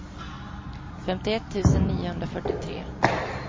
femtioett tusen niohundrafyrtiotre